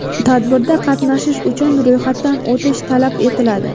Tadbirda qatnashish uchun ro‘yxatdan o‘tish talab etiladi.